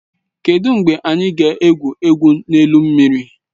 Kedụ mgbe anyị ga-egwu egwu n'elu mmiri?